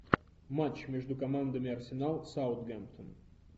матч между командами арсенал саутгемптон